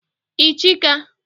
ichaka